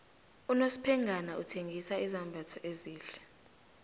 unosphengana uthengisa izambatho ezihle